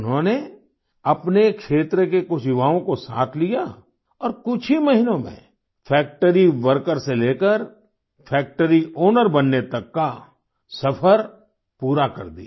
उन्होंने अपने क्षेत्र के कुछ युवाओं को साथ लिया और कुछ ही महीनों में फैक्ट्री वर्कर से लेकर फैक्ट्री आउनर बनने तक का सफर पूरा कर दिया